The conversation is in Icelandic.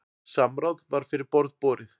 Samráð var fyrir borð borið.